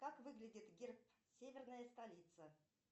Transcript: как выглядит герб северная столица